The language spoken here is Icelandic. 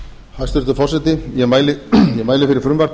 hæstvirtur forseti ég mæli fyrir frumvarpi